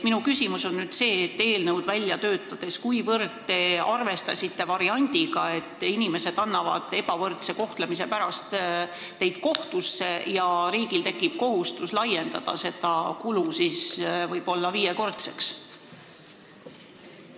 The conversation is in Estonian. Kuivõrd te eelnõu välja töötades arvestasite variandiga, et inimesed annavad teid ebavõrdse kohtlemise pärast kohtusse ja riigil tekib kohustus suurendada seda kulu võib-olla viiekordseks?